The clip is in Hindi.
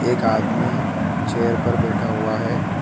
एक आदमी चेयर पर बैठा हुआ है।